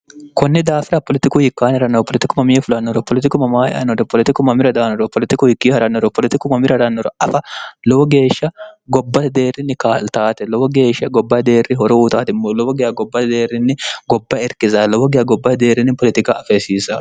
kunni daafira politiku hikkaanirannoro politikku mamii fulannoro politiku mamaayanore politikku mamira daanoro politikku hikkio ha'rannoro politikku mamira rannoro afa lowo geeshsha gobbate deerrinni kaltaate lowo geeshsha gobba ideerri horo uutaatimmo lowo giya gobba deerrinni gobba irkisa lowo giya gobbaedeerrinni politika afeesiisa